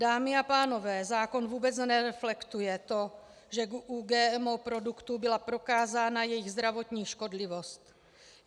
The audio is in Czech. Dámy a pánové, zákon vůbec nereflektuje to, že u GMO produktů byla prokázána jejich zdravotní škodlivost.